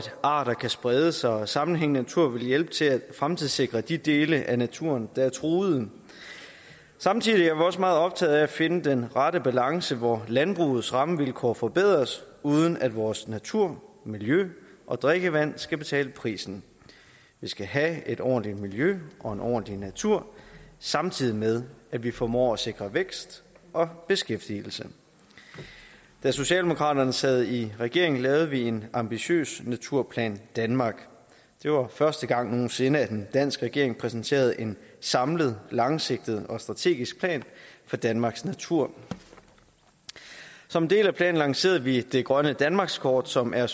arter kan sprede sig og sammenhængende natur vil hjælpe til at fremtidssikre de dele af naturen der er truet samtidig er vi også meget optaget af at finde den rette balance hvor landbrugets rammevilkår forbedres uden at vores natur miljø og drikkevand skal betale prisen vi skal have et ordentligt miljø og en ordentligt natur samtidig med at vi formår at sikre vækst og beskæftigelse da socialdemokraterne sad i regering lavede vi en ambitiøs naturplan danmark det var første gang nogen sinde at en dansk regering præsenterede en samlet langsigtet og strategisk plan for danmarks natur som en del af planen lancerede vi det grønne danmarkskort som er